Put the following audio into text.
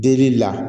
Delili la